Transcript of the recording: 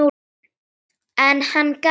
En hann gaf sig ekki.